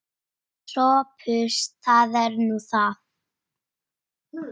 SOPHUS: Það er nú það.